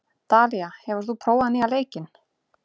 Dalía, hefur þú prófað nýja leikinn?